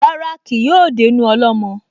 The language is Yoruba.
Rárá, kì yóò dénú ọlọ́mọ